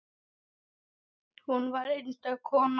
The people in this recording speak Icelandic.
Hún var einstök kona.